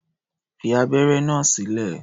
Fi abẹ́ré náà sílẹ̀!